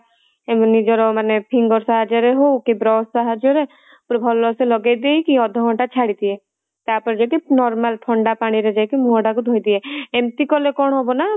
ନିଜର ମାନେ finger ସାହାର୍ଯ୍ୟ ରେ ହଉ କି brush ସାହାର୍ଯ୍ୟ ରେ ପୁରା ଭଲ ସେ ଲଗେଇ ଦେଇକି ଅଧା ଘଣ୍ଟା ଛାଡି ଦିଏ ତାପରେ ଯାଇକି normal ଥଣ୍ଡା ପାଣିରେ ଯାଇକି ମୁହଁ ତାକୁ ଧୋଇଦିଏ ଏମିତି କଲେ କଣ ହବ ନା